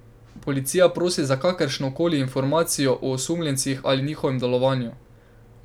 Policija prosi za kakršnekoli informacije o osumljencih ali njihovem delovanju.